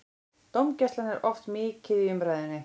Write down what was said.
Dómgæslan er oft mikið í umræðunni.